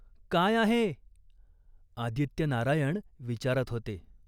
काय आहे ?" आदित्यनारायण विचारत होते.